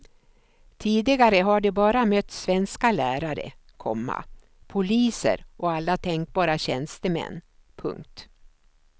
Tidigare har de bara mött svenska lärare, komma poliser och alla tänkbara tjänstemän. punkt